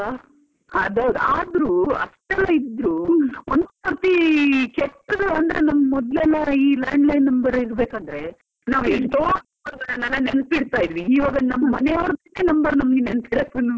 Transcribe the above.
ಅದೌದು. ಆದ್ರು ಅಷ್ಟೆಲ್ಲ ಇದ್ರೂ ಒಂದ್ ಸರ್ತಿ ಕೆಟ್ಟದು ಅಂದ್ರೆ ನಮ್ ಮೊದ್ಲೆಲ್ಲಾ ಈ landline number ಇರಬೇಕಂದ್ರೆ ಎಷ್ಟೋ number ಗಳನ್ನು ನೆನ್ಪಿಡತ ಇದ್ವಿ, ಇವಾಗ ನಮ್ ಮನೆಯವರ್ದೆ number ನಮಗೆ ನೆಂಪಿರಕ್ಕುನು ಬೇಡ.